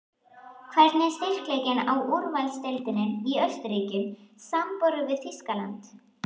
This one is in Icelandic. Hvernig er styrkleikinn á úrvalsdeildinni í Austurríki samanborið við Þýskaland?